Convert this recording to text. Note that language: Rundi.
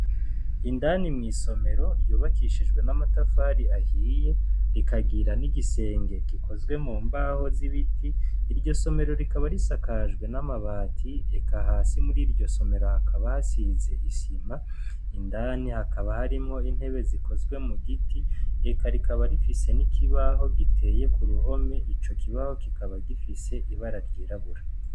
Indani mu isomero ryubakishijwe n'amatafari ahiye , rikagira n'igisenge gikozwe mu mbaho z'ibiti, iryo somero rikaba risakajwe n'amabati, eka hasi muri iryo somero hakaba hasize isima, indani habaka harimwo intebe zikozwe mu giti , eka rikaba rifise n'ikibaho giteye kuruhome, ico kibaho kikaba gifise ibara ry'irabura.